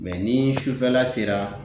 ni sufɛla sera